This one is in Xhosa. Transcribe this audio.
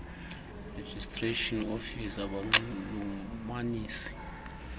registration office abanxulumanisi